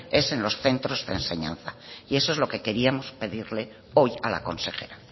es en los centros de enseñanza y eso es lo que queríamos pedirle hoy a la consejera